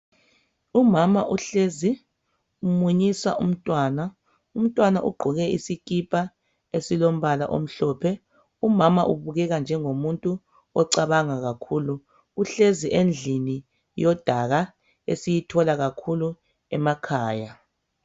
Umama uhlezi umunyisa umntwana umntwana ugqoke isikipa esilombala omhlophe, umama ubukeka njengo muntu ocabanga kakhulu, uhlezi endlini yodaka esiyithola kakhulu emakhaya.